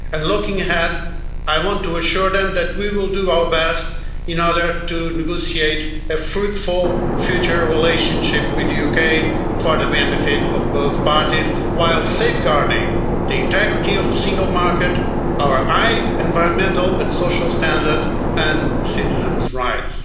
Looking ahead, I want to assure them that we will do our best to negotiate a fruitful future relationship with the UK for the benefit of both parties while safeguarding the integrity of the single market, our high environmental and social standards, and citizens' rights.